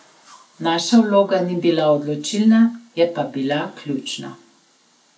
Naša vloga ni bila odločilna, je pa bila ključna.